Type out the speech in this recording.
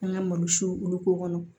An ka malo siw olu k'o kɔnɔ